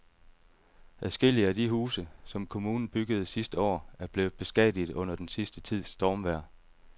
Adskillige af de huse, som kommunen byggede sidste år, er blevet beskadiget under den sidste tids stormvejr.